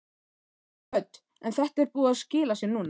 Hödd: En þetta er búið að skila sér núna?